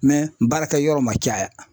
Mɛ baarakɛyɔrɔ ma caya